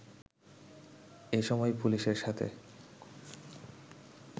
এসময় পুলিশের সাথে